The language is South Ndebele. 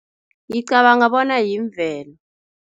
Ngicabanga bona yimvelo.